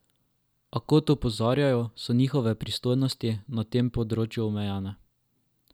A, kot opozarjajo, so njihove pristojnosti na tem področju omejene.